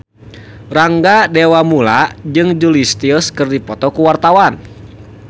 Rangga Dewamoela jeung Julia Stiles keur dipoto ku wartawan